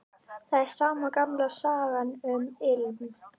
Það er sama gamla sagan, um ilm